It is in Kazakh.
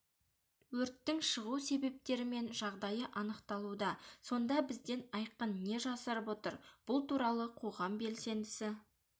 өрттің шығу себептері мен жағдайы анықталуда сонда бізден айқын не жасырып отыр бұл туралы қоғам белсендісі